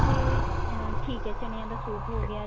ਤੇ ਅਹ ਠੀਕ ਹੈ ਚਨੇਆਂ ਦਾ soup ਹੋ ਗਿਆ